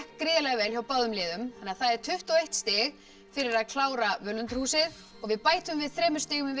gríðarlega vel hjá báðum liðum þannig að það er tuttugu og eitt stig fyrir að klára völundarhúsið og við bætum við þremur stigum